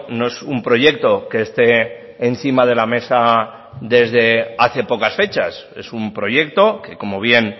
no es un proyecto que esté encima de la mesa desde hace pocas fechas es un proyecto que como bien